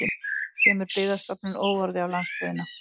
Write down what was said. Kemur Byggðastofnun óorði á landsbyggðina